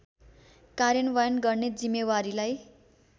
कार्यान्वयन गर्ने जिम्मेवारीलाई